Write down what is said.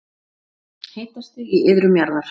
Hitastig í iðrum jarðar